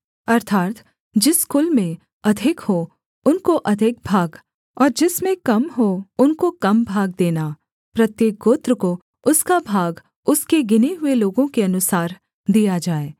अर्थात् जिस कुल में अधिक हों उनको अधिक भाग और जिसमें कम हों उनको कम भाग देना प्रत्येक गोत्र को उसका भाग उसके गिने हुए लोगों के अनुसार दिया जाए